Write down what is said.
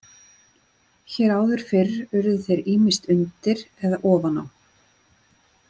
Hér áður fyrr urðu þeir ýmist undir eða ofan á.